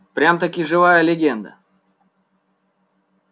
прям-таки живая легенда